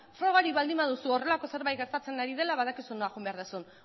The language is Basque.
frogarik baduzu horrelako zerbait gertatzen ari dela badakizu nora joan behar duzun